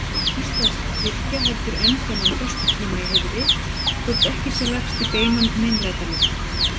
Íslensk kirkja heldur enn þennan föstutíma í heiðri, þótt ekki sé lagst í beinan meinlætalifnað.